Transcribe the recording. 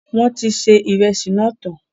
Wọn tí ṣe ìrẹsì náà tán